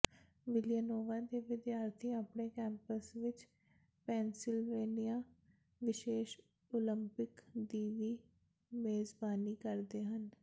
Villanova ਦੇ ਵਿਦਿਆਰਥੀ ਆਪਣੇ ਕੈਂਪਸ ਵਿਚ ਪੈਨਸਿਲਵੇਨੀਆ ਵਿਸ਼ੇਸ਼ ਓਲੰਪਿਕ ਦੀ ਵੀ ਮੇਜ਼ਬਾਨੀ ਕਰਦੇ ਹਨ